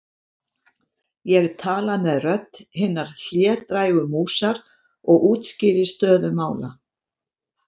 Ég tala með rödd hinnar hlédrægu músar og útskýri stöðu mála.